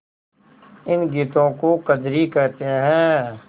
इन गीतों को कजरी कहते हैं